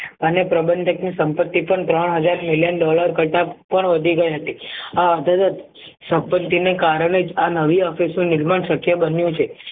અને પ્રબંધક ની સંપત્તિ પણ ત્રણ હજાર million dollar કરતાં પણ વધી ગઈ હતી સંપત્તિને કારણે જ આ નવી નિર્માણ શક્ય બન્યું છે